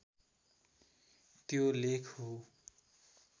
त्यो लेख हो